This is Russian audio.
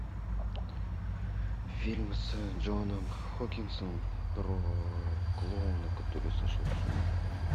фильм с джоном хокинсом про клоуна который сошел с ума